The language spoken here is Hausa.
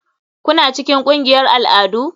Kuna cikin ƙungiyar al'adu?